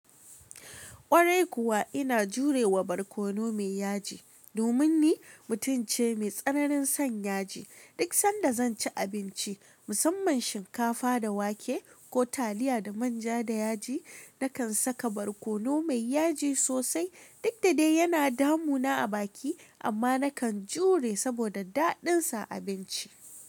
Kwarai kuwa ina jurewa barkono mai yaji, domin ni mutum ce mai tsananin son yaji. Duk sanda zan ci abinci, musamman shinkafa da wake ko taliya da manja da yaji, na kan saka barkono mai yaji sosai. Duk da dai yana damu na a baki, amma na kan jure saboda daɗin sa a abinci.